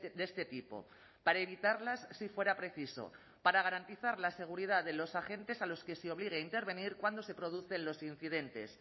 de este tipo para evitarlas si fuera preciso para garantizar la seguridad de los agentes a los que se obligue a intervenir cuando se producen los incidentes